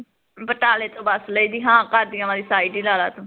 ਬਟਾਲੇ ਤੋਂ ਬਸ ਲਈਦੀ ਹਾਂ ਕਾਦੀਆ ਵਾਲੀ side ਈ ਲਾਲਾ ਤੂੰ